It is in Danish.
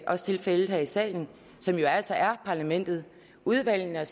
også tilfældet her i salen som jo altså er parlamentet udvalgene er